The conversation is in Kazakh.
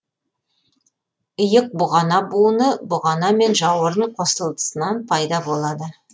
иық бұғана буыны бұғана мен жауырын қосылысынан пайда болады